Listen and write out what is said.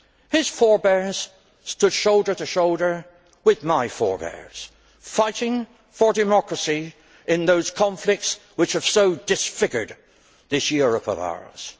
His forebears stood shoulder to shoulder with my forebears, fighting for democracy in those conflicts which have so disfigured this Europe of ours.